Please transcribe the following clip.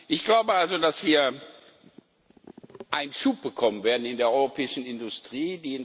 Ich glaube also, dass wir einen Schub bekommen werden in der europäischen Industrie.